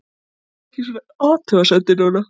Þoldi ekki svona athugasemdir núna.